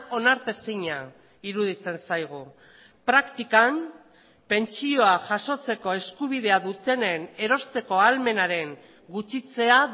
onartezina iruditzen zaigu praktikan pentsioa jasotzeko eskubidea dutenen erosteko ahalmenaren gutxitzea